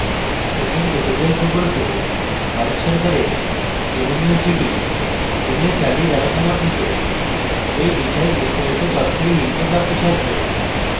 spoken tutorial প্রকল্প ভারত সরকারের nmeict mhrd দ্বারা সমর্থিত এই বিষয়ে বিস্তারিত তথ্য এই link প্রাপ্তিসাধ্য